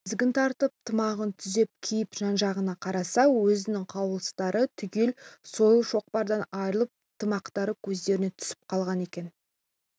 тізгін тартып тымағын түзеп киіп жан-жағына қараса өзінің қаруластары түгел сойыл-шоқпардан айрылып тымақтары көздеріне түсіп қалған екен